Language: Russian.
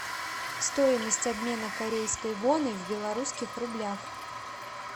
стоимость обмена корейской воны в белорусских рублях